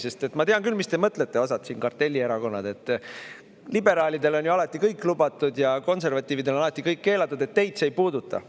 Sest ma tean küll, mis te mõtlete osad siin, kartellierakonnad, et liberaalidele on alati kõik lubatud ja konservatiividele on alati kõik keelatud, et teid see ei puuduta.